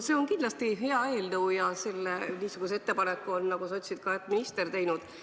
See on kindlasti hea eelnõu ja selle ettepaneku, nagu sa ütlesid, on ka minister teinud.